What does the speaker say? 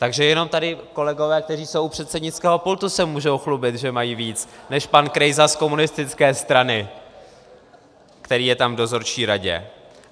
Takže jenom tady kolegové, kteří jsou u předsednického pultu, se mohou chlubit, že mají víc než pan Krejsa z komunistické strany, který je tam v dozorčí radě.